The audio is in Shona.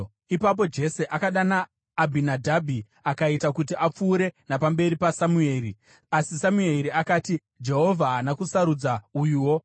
Ipapo Jese akadana Abhinadhabhi akaita kuti apfuure napamberi paSamueri. Asi Samueri akati, “Jehovha haana kusarudza uyuwo.”